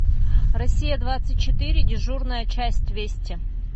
россия двадцать четыре дежурная часть вести